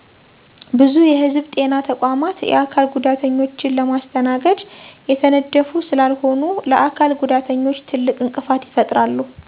ብዙ የህዝብ ጤና ተቋማት የአካል ጉዳተኞችን ለማስተናገድ የተነደፉ ስላልሆኑ ለአካል ጉዳተኞች ትልቅ እንቅፋት ይፈጥራሉ።